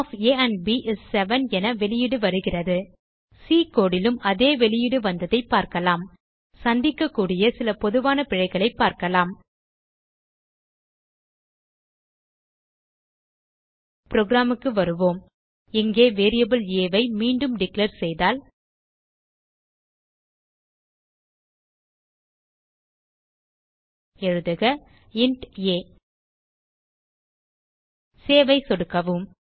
sum of a and b is 7 என வெளியீடு வருகிறது சி கோடு லும் இதே வெளியீடு வந்ததை பார்க்கலாம் சந்திக்கக்கூடிய சில பொதுவான பிழைகளைப் பார்க்கலாம் புரோகிராம் க்கு வருவோம் இங்கே வேரியபிள் ஆ ஐ மீண்டும் டிக்ளேர் செய்தால் எழுதுக இன்ட் ஆ சேவ் ஐ சொடுக்கவும்